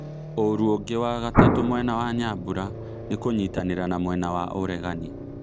Ũru ũngĩ wa gatatũ mwena wa Nyambura nĩ kũnyitanĩra na mwena wa ũregani